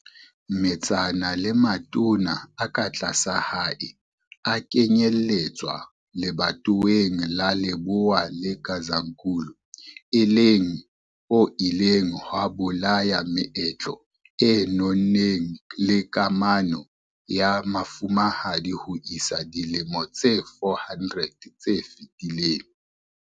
Metsana le matona a ka tlasa hae a kenyelletswa lebatoweng la Lebowa le Gazankulu e leng ho ileng ha bolaya meetlo e nonneng le kamano ya mofumahadi ho isa dilemong tse 400 tse fetileng.